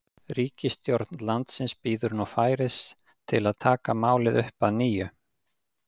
Ríkisstjórn landsins bíður nú færis til að taka málið upp að nýju.